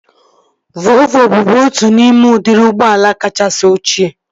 Volvo bụbu otu n'ime udiri ụgbọala kachasị ochie